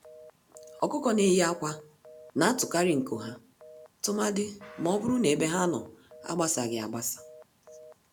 Ọkụkọ-ndị-neyi-ákwà natụkarị nku ha, tụmadi mọbụrụ na ebe ha nọ agbasaghị agbasa